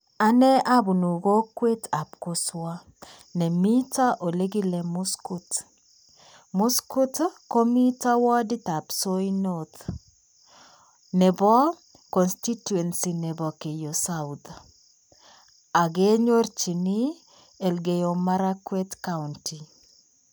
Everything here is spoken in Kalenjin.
Anee abunu kokwetab koswo nemiito olekile muskut. Muskut ko miito warditab soi north nebo contituency nebo keiyo south. Agenyojini Elkeiyo marakwet county.